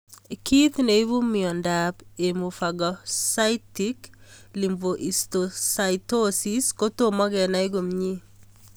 Kiy neipu miondop hemophagocytic lymphohistiocytosis kotomo kenai komie